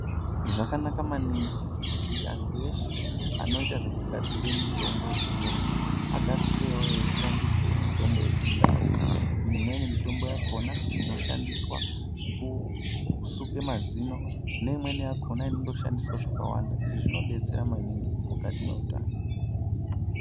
Zvakanak maningi kuti anthu eshe anoita zvekugadzire mitombo yechiyungu agadzireo eishandisa mitombo yechindau imweni mitombo yakona inoshandiswa kusuke mazino neimweni yakona inondoshandiswa zvakawanda izvi zvinodetsera maningi mukati mweutano.